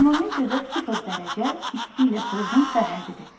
Termometrdə sıfır dərəcə isti ilə soyuğun sərhəddidir.